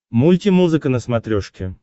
мультимузыка на смотрешке